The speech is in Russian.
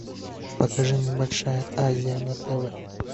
покажи мне большая азия на тв